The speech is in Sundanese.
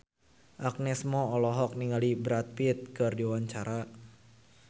Agnes Mo olohok ningali Brad Pitt keur diwawancara